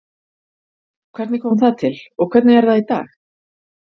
Hvernig kom það til og hvernig er það í dag?